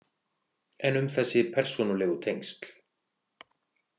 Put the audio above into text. En um þessi persónulegu tengsl?